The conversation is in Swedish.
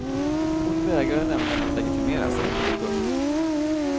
Hon vägrade nämligen att legitimera sig. punkt